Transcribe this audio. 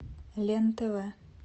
лен тв